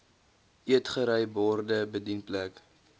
eetgery borde bedienplek